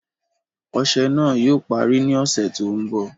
Ọṣẹ̀ náà yóò pàrí ní ọṣẹ̀ tó nbọ̀.